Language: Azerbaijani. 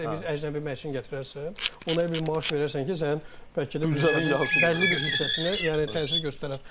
Ola bilər bir əcnəbi məşçini gətirərsən, ona elə bir maaş verərsən ki, sənin bəlkə də büdcənin, bəlli bir hissəsinə yəni təsir göstərər.